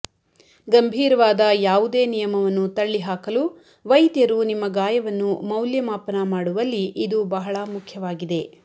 ಗಂಭೀರವಾದ ಯಾವುದೇ ನಿಯಮವನ್ನು ತಳ್ಳಿಹಾಕಲು ವೈದ್ಯರು ನಿಮ್ಮ ಗಾಯವನ್ನು ಮೌಲ್ಯಮಾಪನ ಮಾಡುವಲ್ಲಿ ಇದು ಬಹಳ ಮುಖ್ಯವಾಗಿದೆ